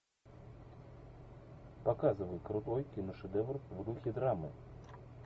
показывай крутой киношедевр в духе драмы